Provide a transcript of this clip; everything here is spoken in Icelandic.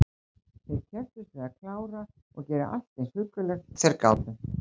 Þeir kepptust við að klára og gera allt eins huggulegt og þeir gátu.